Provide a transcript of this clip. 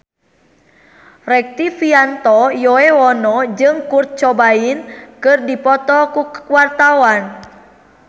Rektivianto Yoewono jeung Kurt Cobain keur dipoto ku wartawan